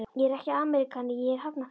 Ég er ekki ameríkani, ég er Hafnfirðingur.